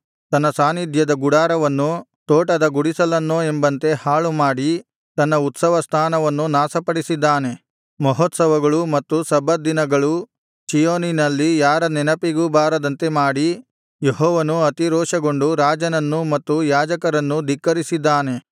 ತನ್ನ ಸಾನ್ನಿಧ್ಯದ ಗುಡಾರವನ್ನು ತೋಟದ ಗುಡಿಸಲನ್ನೋ ಎಂಬಂತೆ ಹಾಳುಮಾಡಿ ತನ್ನ ಉತ್ಸವಸ್ಥಾನವನ್ನು ನಾಶಪಡಿಸಿದ್ದಾನೆ ಮಹೋತ್ಸವಗಳು ಮತ್ತು ಸಬ್ಬತ್ ದಿನಗಳು ಚೀಯೋನಿನಲ್ಲಿ ಯಾರ ನೆನಪಿಗೂ ಬಾರದಂತೆ ಮಾಡಿ ಯೆಹೋವನು ಅತಿರೋಷಗೊಂಡು ರಾಜನನ್ನೂ ಮತ್ತು ಯಾಜಕರನ್ನೂ ಧಿಕ್ಕರಿಸಿದ್ದಾನೆ